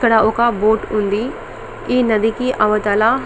ఇక్కడ ఒక బోట్ ఉంది ఈ నది కి అవతల.